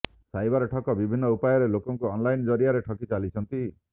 cyber ଠକ ବିଭିନ୍ନ ଉପାୟରେ ଲୋକଙ୍କୁ ଅନଲାଇନ ଜରିଆରେ ଠକି ଚାଲିଛନ୍ତି